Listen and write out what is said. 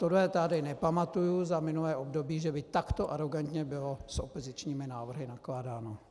Tohle tady nepamatuji za minulé období, že by takto arogantně bylo s opozičními návrhy nakládáno.